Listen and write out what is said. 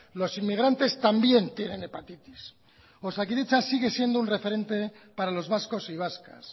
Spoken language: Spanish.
los inmigrantes también tienen hepatitis osakidetza sigue siendo un referente para los vascos y vascas